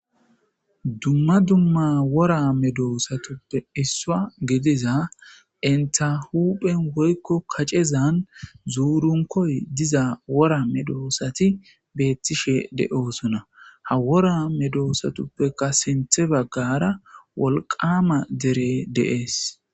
Dumma dumma wora medoosatuppe issuwa gidiza enta huphen woykko kacezan zuurunkoy diza wora medoosati beettishe de7osona ha wora medoosatuppeka sinthe baggara wolqama dere de7ees.